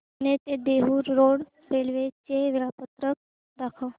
पुणे ते Dehu road railway चे वेळापत्रक दाखव